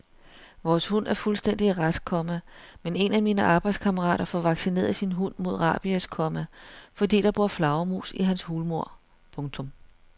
Vores hund er fuldstændig rask, komma men en af mine arbejdskammerater får vaccineret sin hund mod rabies, komma fordi der bor flagermus i hans hulmur. punktum